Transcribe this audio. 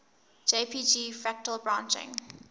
jpg fractal branching